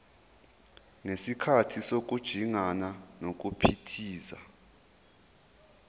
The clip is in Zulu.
ngesikhathi sokujingana nokuphithiza